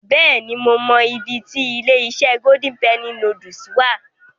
Bẹ́ẹ̀ni, mo mọ ibi ti ilé-iṣẹ́ Golden Penny Noodles wà.